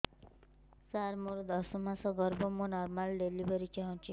ସାର ମୋର ଦଶ ମାସ ଗର୍ଭ ମୁ ନର୍ମାଲ ଡେଲିଭରୀ ଚାହୁଁଛି